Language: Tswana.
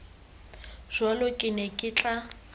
jalo ke ne ke tla